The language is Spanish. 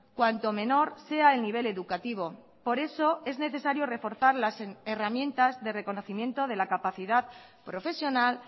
cuanto menor sea el nivel educativo por eso es necesario reforzar las herramientas de reconocimiento de la capacidad profesional